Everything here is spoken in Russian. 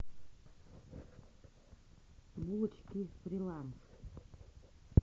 булочки фриланс